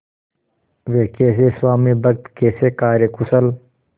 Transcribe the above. वे कैसे स्वामिभक्त कैसे कार्यकुशल